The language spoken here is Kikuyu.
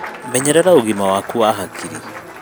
Menyerera ugĩma waku wa hakiri